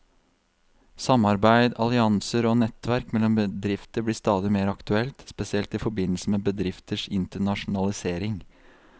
Samarbeid, allianser og nettverk mellom bedrifter blir stadig mer aktuelt, spesielt i forbindelse med bedrifters internasjonalisering.